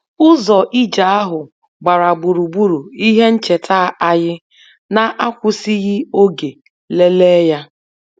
Ụzọ ije ahụ gbara gburugburu ihe ncheta anyị na-akwụsịghị oge lelee ya